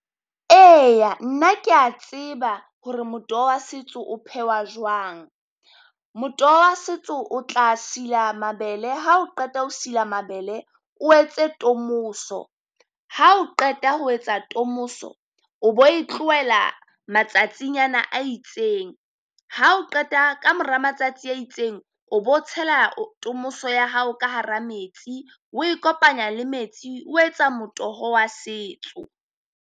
Eya nna kea tseba hore motoho wa setso o phehwa jwang. Motoho wa setso o tla sila mabele ha o qeta ho sila mabele, o etse tomoso ha o qeta ho etsa tomoso o bo e tlohela matsatsinyana a itseng. Ha o qeta kamora matsatsi a itseng o bo tshela tomoso ya hao ka hara metsi o e kopanya le metsi o etsa motoho wa setso.